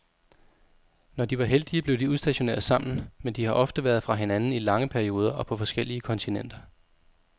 Når de var heldige, blev de udstationeret sammen, men de har ofte været fra hinanden i lange perioder og på forskellige kontinenter.